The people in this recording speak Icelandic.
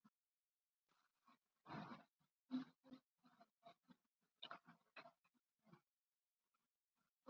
Viljum við bjóða upp á það?